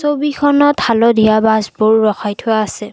ছবিখনত হালধীয়া বাছবোৰ ৰখাই থোৱা আছে।